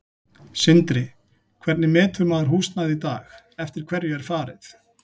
Sindri: Hvernig metur maður húsnæði í dag, eftir hverju er farið?